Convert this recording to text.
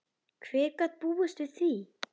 Hver gat búist við því?